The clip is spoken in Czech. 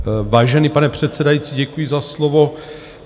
Vážený pane předsedající, děkuji za slovo.